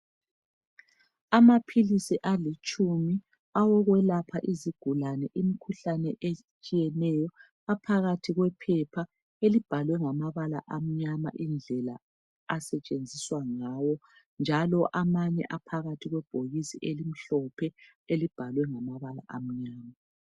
Amaphilisi alitshumi, awokwelapha izigulane imikhuhlane etshiyeneyo. Aphakathi kwephepha, elibhalwe ngamabala amnyama, indlela asetshenziswa ngayo, njalo amanye aphakathi kwebhokisi elimhlophe, elibhalwe ngamabala amnyama.